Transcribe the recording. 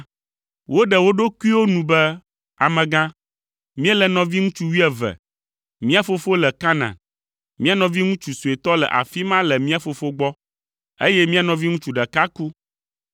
Woɖe wo ɖokuiwo nu be, “Amegã, míele nɔviŋutsu wuieve; mía fofo le Kanaan. Mía nɔviŋutsu suetɔ le afi ma le mía fofo gbɔ, eye mía nɔviŋutsu ɖeka ku.”